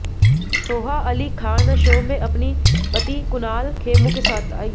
Soha Ali Khan show में अपनी पति कुणाल खेमू के साथ आईं